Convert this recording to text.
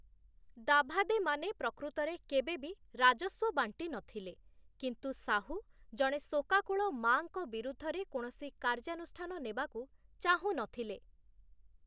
ଦାଭାଦେମାନେ ପ୍ରକୃତରେ କେବେ ବି ରାଜସ୍ୱ ବାଣ୍ଟିନଥିଲେ, କିନ୍ତୁ ଶାହୁ ଜଣେ ଶୋକାକୁଳ ମାଆଙ୍କ ବିରୁଦ୍ଧରେ କୌଣସି କାର୍ଯ୍ୟାନୁଷ୍ଠାନ ନେବାକୁ ଚାହୁଁନଥିଲେ ।